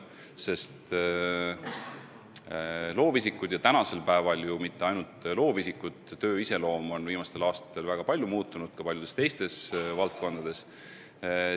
Ja viimastel aastatel ei ole ju mitte ainult loovisikute töö iseloom väga palju muutunud, see on sündinud ka paljudes teistes valdkondades.